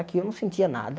Aqui eu não sentia nada.